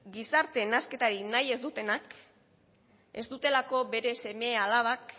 gizarte nahasketarik nahi ez dutenak ez dutelako beren seme alabak